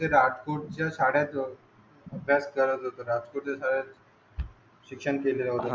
आणि राजकोटच्या अबहीस करत होता राजकोटच्या शाळेत शिक्षण केलेल होते.